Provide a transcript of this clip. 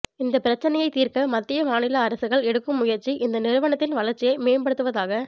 இந்தப் பிரச்னையைத் தீர்க்க மத்திய மாநில அரசுகள் எடுக்கும் முயற்சி இந்த நிறுவனத்தின் வளர்ச்சியை மேம்படுத்துவதாக